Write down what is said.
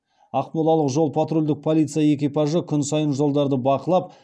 ақмолалық жол патрульдік полиция экипажы күн сайын жолдарды бақылап